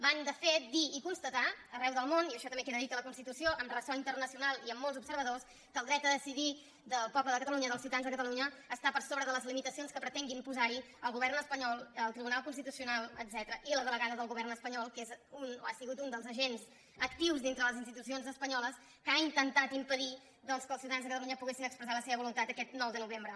van de fet dir i constatar arreu del món i això també queda dit a la moció amb ressò internacio·nal i amb molts observadors que el dret a decidir del poble de catalunya dels ciutadans de catalunya està per sobre de les limitacions que pretenguin posar·hi el govern espanyol el tribunal constitucional etcètera i la delegada del govern espanyol que és un o ha sigut un dels agents actius dintre de les institucions espa·nyoles que ha intentat impedir doncs que els ciuta·dans de catalunya poguessin expressar la seva volun·tat aquest nou de novembre